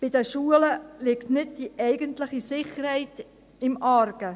Bei den Schulen liegt nicht die eigentliche Sicherheit im Argen.